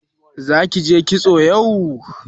Zaki je kitso yau?